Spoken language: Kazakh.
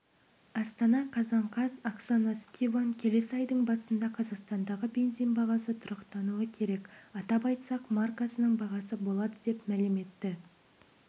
астана қазан қаз оксана скибан келесі айдың басында қазақстандағы бензин бағасы тұрақтануы керек атап айтсақ маркасының бағасы болады деп мәлім етті